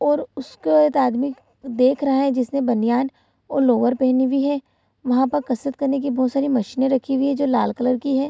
और उसके ओर आदमी देख रहा है जिसने बनियान और लोअर पहनी हुई है वहाँ पर कसरत करने की बहुत सारी मशीनें रखी हुई हैं जो लाल कलर की हैं।